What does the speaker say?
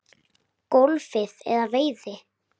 golfi eða veiði.